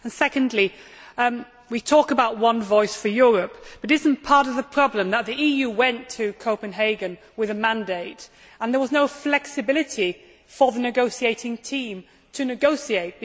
Secondly, we talk about one voice for Europe, but is it not part of the problem that the EU went to Copenhagen with a mandate and there was no flexibility for the negotiating team to negotiate?